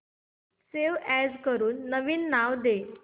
save as करून नवीन नाव दे